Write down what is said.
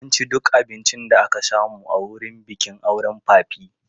Mun ci duk abincin da aka samu a wurin bikin auren papi.